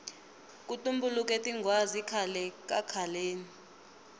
ku tumbuluke tinghwazi khale kakhaleni